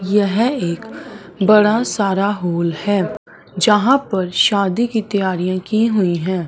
यह एक बड़ा सारा हॉल है जहां पर शादी की तैयारी की हुई हैं।